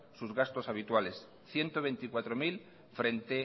sus gastos habituales ciento veinticuatro mil frente